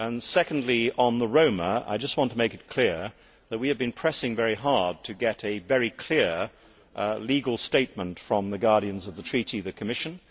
Secondly, on the Roma, I want to make it clear that we have been pressing very hard to get a very clear legal statement from the guardians of the treaty, the Commission.